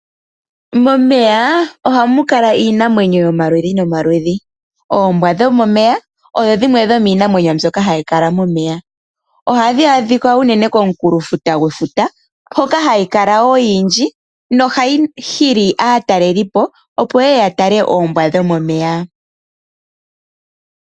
Momeya ohamu kala iinamwenyo yomaludhi nomaludhi. Oombwa dhomomeya odho dhimwe dhomiinamwenyo mbyoka hayi kala momeya. Ohadhi adhika uunene komukunkulo gwefuta, hoka hadhi kala ko odhindji, nohadhi hili aatalelipo opo ye ye ya tale oombwa dhomomeya.